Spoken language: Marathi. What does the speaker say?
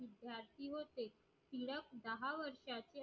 धाडसी होते दहा वर्षाचे